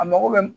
A mago bɛ